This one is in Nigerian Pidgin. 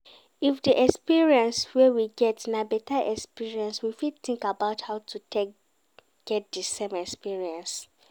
If di experience wey we get na better experience we fit think about how to take get the same experience